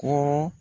Kɔrɔ